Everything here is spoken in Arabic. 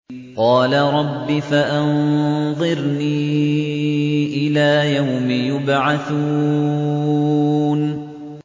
قَالَ رَبِّ فَأَنظِرْنِي إِلَىٰ يَوْمِ يُبْعَثُونَ